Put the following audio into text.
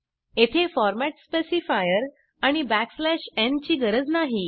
येथे format specifier आणि n गरज नाही